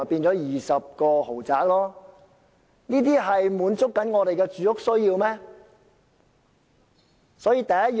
這些豪宅能滿足市民的住屋需要嗎？